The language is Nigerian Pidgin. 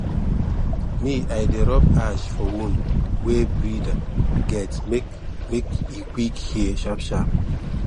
me i dey rub ashe for wound wey breeder get make make e quick heal sharp sharp